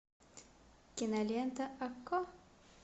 кинолента окко